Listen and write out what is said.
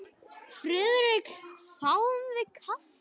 Friðrik þáði kaffi.